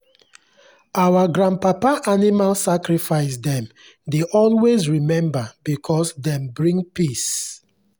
our grandpapa animal sacrifice dem dey always remember because dem bring peace.